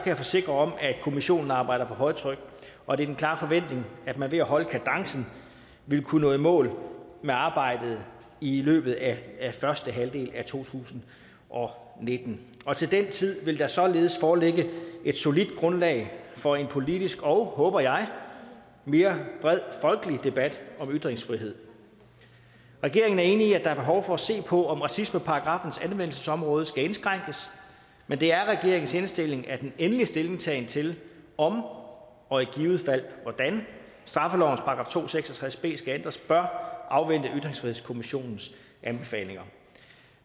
jeg forsikre om at kommissionen arbejder på højtryk og det er min klare forventning at man ved at holde kadencen vil kunne nå i mål med arbejdet i løbet af første halvdel af to tusind og nitten og til den tid vil der således foreligge et solidt grundlag for en politisk og håber jeg mere bred folkelig debat om ytringsfrihed regeringen er enig i at der er behov for at se på om racismeparagraffens anvendelsesområde skal indskrænkes men det er regeringens indstilling at en endelig stillingtagen til om og i givet fald hvordan straffelovens § to hundrede og seks og tres b skal ændres bør afvente ytringsfrihedskommissionens anbefalinger